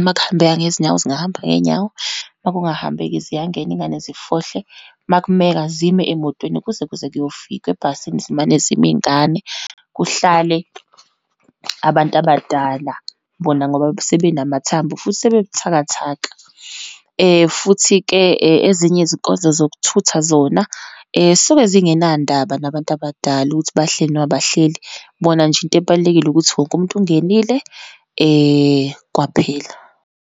uma kuhambeka ngezinyawo, zingahamba ngeyinyawo, uma kungahambeki ziyangena iyingane zifohle, uma kumeka zime emotweni kuze kuze kuyofika, ebhasini zimane zime iyingane, kuhlale abantu abadala, bona ngoba sebenamathambo futhi sebebuthakathaka. Futhi-ke ezinye izinkonzo zokuthutha zona, zisuke zingenandaba nabantu abadala ukuthi bahleli, noma abahleli, bona nje into ebalulekile ukuthi wonke umuntu ungenile, kwaphela.